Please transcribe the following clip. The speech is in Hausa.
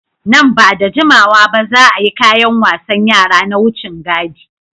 Nan ba da jimawa ba, za a yi kayan wasan yara na wucin gadi.